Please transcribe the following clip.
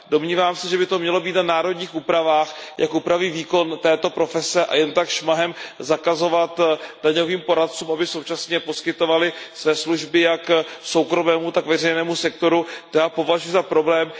Domnívám se, že by to mělo být na národních úpravách, jak upraví výkon této profese, a jen tak šmahem zakazovat daňovým poradcům, aby současně poskytovali své služby jak soukromému, tak veřejnému sektoru, to já považuji za problém.